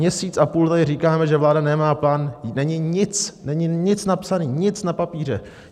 Měsíc a půl tady říkáme, že vláda nemá plán, není nic, není nic napsané, nic na papíře.